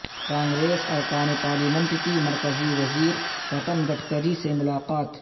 کانگریس ارکان پارلیمنٹ کی مرکزی وزیر نتن گڈگری سے ملاقات